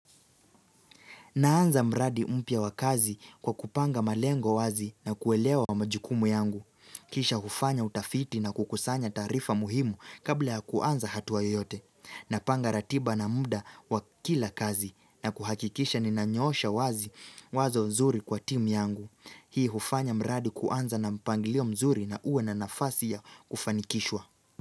Naanza mradi mpya wa kazi kwa kupanga malengo wazi na kuelewa wa majukumu yangu. Kisha hufanya utafiti na kukusanya taarifa muhimu kabla yakuanza hatuwa yote. Napanga ratiba na muda wa kila kazi na kuhakikisha ninanyosha wazi wazo mzuri kwa timu yangu. Hii hufanya mradi kuanza na mpangilio mzuri na uwe na nafasi ya kufanikishwa.